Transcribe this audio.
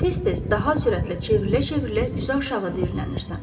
Tez-tez, daha sürətlə çevrilə-çevrilə üzü aşağı diyirlənirsən.